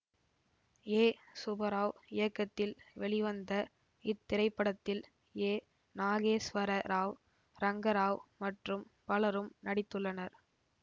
ஏ சுபராவ் இயக்கத்தில் வெளிவந்த இத்திரைப்படத்தில் ஏ நாகேஸ்வர ராவ் ரங்கராவ் மற்றும் பலரும் நடித்துள்ளனர்